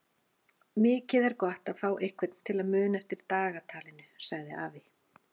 Mikið er gott að fá einhvern til að muna eftir dagatalinu sagði afi.